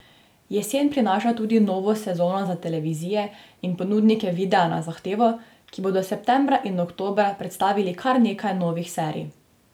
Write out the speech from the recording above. Jesen prinaša tudi novo sezono za televizije in ponudnike videa na zahtevo, ki bodo septembra in oktobra predstavili kar nekaj novih serij.